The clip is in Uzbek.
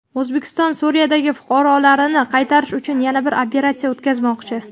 O‘zbekiston Suriyadagi fuqarolarini qaytarish uchun yana bir operatsiya o‘tkazmoqchi.